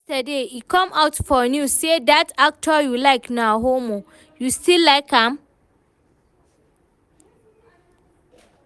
Yesterday e come out for news say dat actor you like na homo, you still like am?